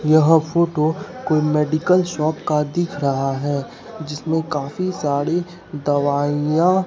यह फोटो कोई medical shop का दिख रहा है जिसमें काफी सारी दवाईयां--